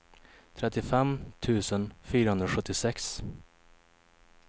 trettiofem tusen fyrahundrasjuttiosex